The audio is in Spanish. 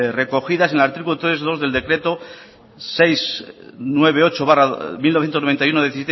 recogidas en el artículo tres punto dos del decreto seiscientos noventa y ocho barra mil novecientos noventa y uno de